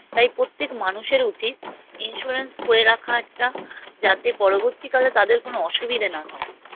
তাই পোত্যেক মানুষের উচিৎ Insurance করে রাখা একটা যাতে পরবর্তীকালে তাদের কোনো অসুবিধে না হয়